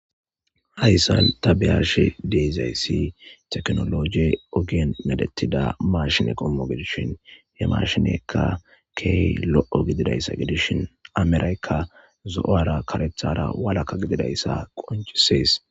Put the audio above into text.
hayssan ta beyashe de'izayssi teknologe ogien medettida mashine qommo gedishin he mashinekka keey lo7o gididayssa gidishin ameraykka zo7ara karethara walaka gididayssa qoncisees